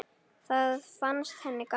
Það fannst henni gaman.